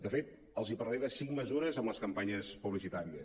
de fet els parlaré de cinc mesures en les campanyes publicitàries